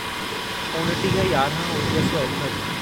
उणिटीह यारहं उणिवीह सौ एकहठि